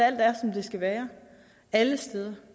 skal være alle steder